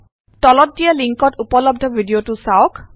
তলত দিয়া লিঙ্কত উপলব্ধ ভিডিঅটো চাওক